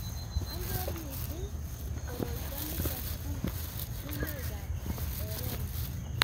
ang'er msing' koroito nito uu sumukab erene.